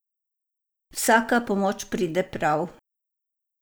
Vsaka pomoč pride prav.